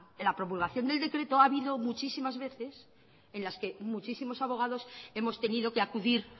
la promulgación del decreto ha habido muchísimas veces en las que muchísimos abogados hemos tenido que acudir